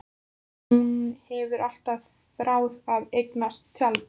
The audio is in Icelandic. Hún hefur alltaf þráð að eignast tjald.